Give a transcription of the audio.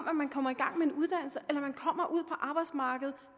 at man kommer i gang med en uddannelse eller man kommer ud på arbejdsmarkedet